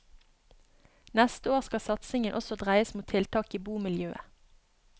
Neste år skal satsingen også dreies mot tiltak i bomiljøet.